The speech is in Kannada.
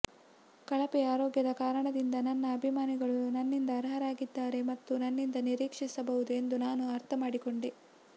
ಕಳಪೆ ಆರೋಗ್ಯದ ಕಾರಣದಿಂದ ನನ್ನ ಅಭಿಮಾನಿಗಳು ನನ್ನಿಂದ ಅರ್ಹರಾಗಿದ್ದಾರೆ ಮತ್ತು ನನ್ನಿಂದ ನಿರೀಕ್ಷಿಸಬಹುದು ಎಂದು ನಾನು ಅರ್ಥ ಮಾಡಿಕೊಂಡೆ